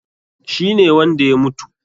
Shi ne wanda ya mutu?